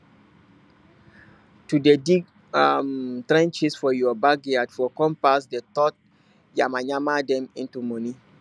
to dey dig um trenches for your backyard for compost dey turn yamayama dem into money